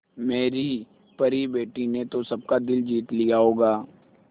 मेरी परी बेटी ने तो सबका दिल जीत लिया होगा